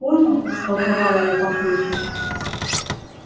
понял растолковала я папульке